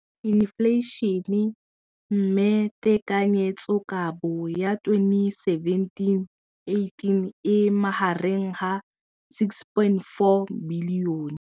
Infleišene, mme tekanyetsokabo ya 2017 18 e magareng ga 6.4 bilione.